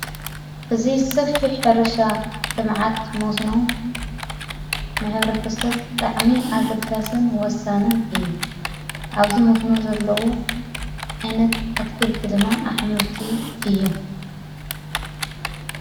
እዝ ሰፊ ሕርሻ እተመዓት ሞስኖ ምኅብረ ተሰብ ታዕሚ ኣግዳስን ወሳንን እዩ ኣብዙ ሞስኖ ዘለዉ ዓይነት ኣትክልቲ ድማ ኣኅመልቲ እዮም።